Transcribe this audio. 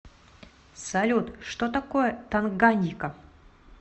салют что такое танганьика